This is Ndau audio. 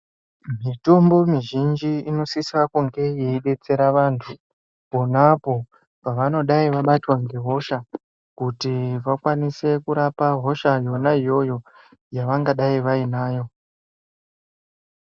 Mitombo mizhinji inosise kunge yeidetsera antu pona apapo pevangadayi vabatwa ngehosha kuti vakwanise kurapa hosha yona iyoyo yavangadayi vanayo.